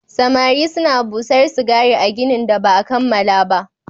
Samare suna busar sigari a ginin da ba a kammala ba